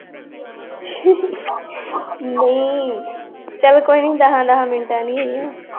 ਚੱਲ ਕੋਈ ਨੀ ਗਹਾਂ-ਗਹਾਂ ਮਿੰਟਾਂ ਨੀ ਹੈਗੀਆਂ l